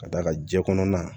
Ka d'a kan jɛ kɔnɔna